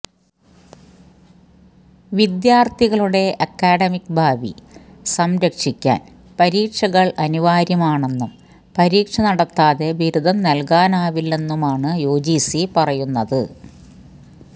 വിദ്യാർത്ഥികളുടെ അക്കാഡമിക്ക് ഭാവി സംരക്ഷിക്കാൻ പരീക്ഷകൾ അനിവാര്യമാണെന്നും പരീക്ഷ നടത്താതെ ബിരുദം നൽകാനാവില്ലെന്നുമാണ് യുജിസി പറയുന്നത്